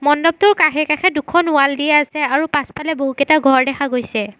মণ্ডৱটোৰ কাষে-কাষে দুখন ৱাল দিয়া আছে আৰু পাছফালে বহুকেইটা ঘৰ দেখা গৈছে।